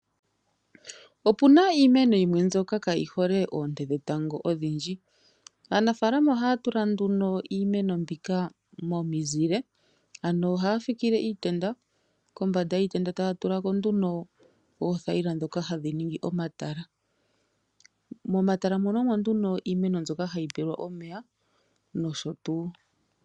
Opu na iimeno yimwe mbyoka kayi hole oonte dhetango odhindji. Aanafaalama ohaya tula nduno iimeno mbika momizile. Ohaya fikile iitenda kombanda yiitenda taya tula ko oothayila ndhoka hadhi ningi omatala. Momatala omo nduno iimeno mbyoka hayi pelwa omeya nosho tuu.